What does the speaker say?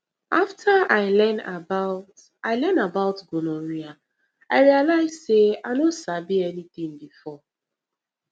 after i learn about i learn about gonorrhea i realize say i no sabi anything before